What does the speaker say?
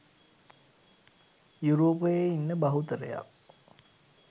යුරෝපයේ ඉන්න බහුතරයක්